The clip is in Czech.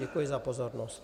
Děkuji za pozornost.